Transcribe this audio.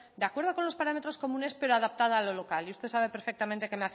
de acuerdo con los parámetros comunes pero adaptada a lo local y usted sabe perfectamente